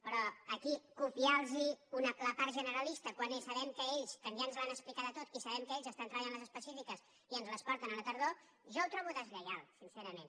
però aquí copiar los la part generalista quan sabem que ells que ja ens l’han explicada tota estan treballant les específiques i ens les porten a la tardor jo ho trobo deslleial sincerament